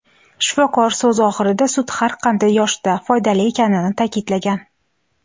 Shifokor so‘zi oxirida sut har qanday yoshda foydali ekanini ta’kidlagan.